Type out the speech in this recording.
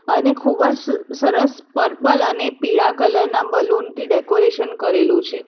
અને ખૂબજ સરસ પર્પલ અને પીળા કલર ના બલૂન થી ડેકોરેશન કરેલું છે.